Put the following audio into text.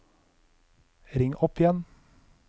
ring opp igjen